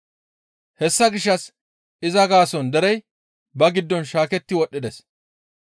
Hessa gishshas iza gaason derey ba giddon shaaketti wodhdhides.